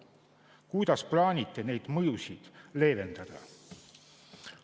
Kuidas plaanite neid mõjusid leevendada?